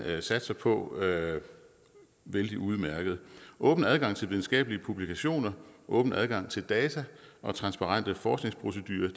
satser på vældig udmærkede åben adgang til videnskabelige publikationer og åben adgang til data og transparente forskningsprocedurer